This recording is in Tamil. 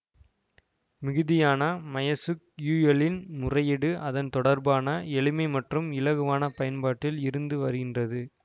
மிகுதியான மையெசுக்யூயெல்லின் முறையீடு அதன் தொடர்பான எளிமை மற்றும் இலகுவான பயன்பாட்டில் இருந்து வருகின்றது